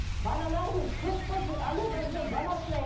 балаларымыз көп болсын алладан сол бала сұрайық